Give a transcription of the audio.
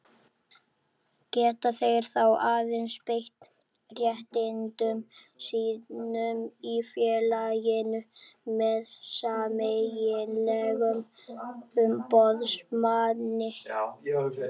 Geta þeir þá aðeins beitt réttindum sínum í félaginu með sameiginlegum umboðsmanni.